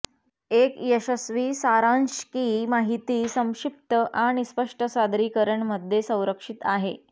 एक यशस्वी सारांश की माहिती संक्षिप्त आणि स्पष्ट सादरीकरण मध्ये संरक्षित आहे